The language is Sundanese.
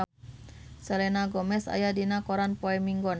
Selena Gomez aya dina koran poe Minggon